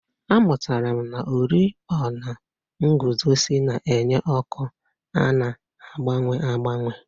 Amụtara m na oriọna nguzozi na-enye ọkụ a na-agbanwe agbanwe.